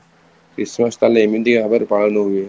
christmas ତାହେଲେ ଏମିତି ଭାବରେ ପାଳନ ହୁଏ